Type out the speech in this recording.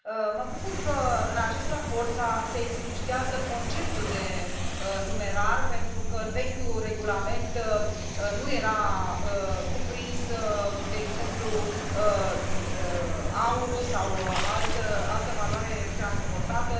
Mă bucur că în acest raport se explicitează conceptul de numerar, pentru că în vechiul regulament nu era cuprins, de exemplu, aurul sau altă valoare transportată.